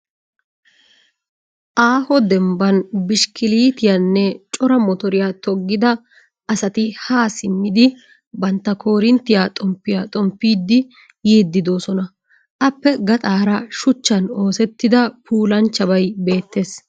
Aaho dembban bishkkiliitiyanne cora motoriya toggida asati haa simmidi bantta koorinttiya xomppiya xomppidi yiiddi doosona. Appe gaxaara shuchchan oosettida puulanchchabay beettes.